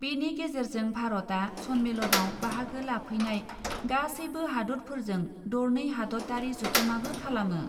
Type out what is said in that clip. बेनि गेजेरजों भारतआ सन्मेलनआव बाहागो लाफैनाय गासैबो हादतफोरजों दरनै हादतयारि जथुमाबो खालामो ।